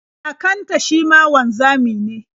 Kakanta shi ma wanzami ne.